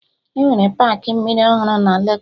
Enwere paakị mmiri ọhụrụ na Legos